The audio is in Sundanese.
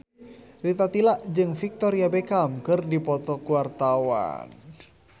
Rita Tila jeung Victoria Beckham keur dipoto ku wartawan